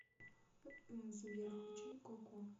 сбер включи коко